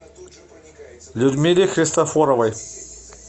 людмиле христофоровой